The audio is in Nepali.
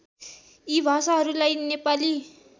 यी भाषाहरूलाई नेपाली